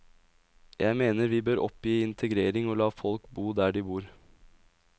Jeg mener vi bør oppgi integrering og la folk bo der de bor.